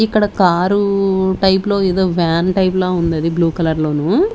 ఇక్కడ car type లో ఏదో వ్యాన్ టైప్ ల ఉంది అది బ్లూ కలర్ లోను.